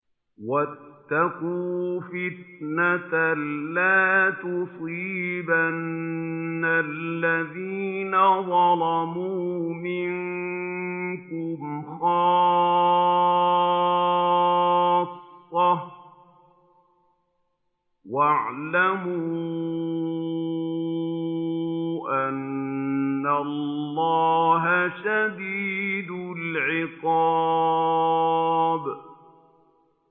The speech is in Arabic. وَاتَّقُوا فِتْنَةً لَّا تُصِيبَنَّ الَّذِينَ ظَلَمُوا مِنكُمْ خَاصَّةً ۖ وَاعْلَمُوا أَنَّ اللَّهَ شَدِيدُ الْعِقَابِ